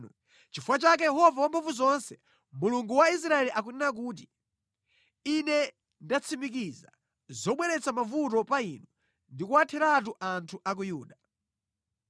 “Nʼchifukwa chake Yehova Wamphamvuzonse, Mulungu wa Israeli akunena kuti, ‘Ine ndatsimikiza zobweretsa mavuto pa inu ndi kuwatheratu anthu a ku Yuda.